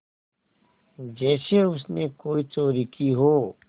जैसे उसने कोई चोरी की हो